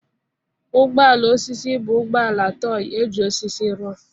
Ụgbọ ala osisi bụ ụgbọ ala tọị eji osisi rụọ.